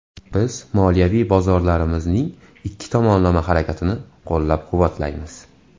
Biz moliyaviy bozorlarimizning ikki tomonlama harakatini qo‘llab-quvvatlaymiz.